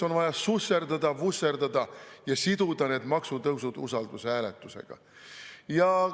On vaja susserdada‑vusserdada ja siduda need maksutõusud usaldushääletusega.